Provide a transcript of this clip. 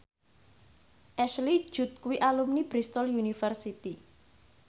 Ashley Judd kuwi alumni Bristol university